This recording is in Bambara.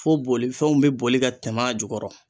Fo bolifɛnw be boli ka tɛmɛ a jukɔrɔ